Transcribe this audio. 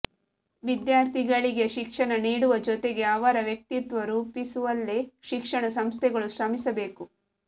ವಿದ್ಯಾಥರ್ಿಗಳಿಗೆ ಶಿಕ್ಷಣ ನೀಡುವ ಜೊತೆಗೆ ಅವರ ವ್ಯಕ್ತಿತ್ವ ರೂಪಿಸುವಲ್ಲಿ ಶಿಕ್ಷಣ ಸಂಸ್ಥೆಗಳು ಶ್ರಮಿಸಬೇಕು